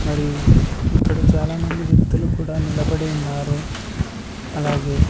మరియు ఇక్కడ చాలామంది వ్యక్తులు కూడా నిలబడి ఉన్నారు. అలాగే --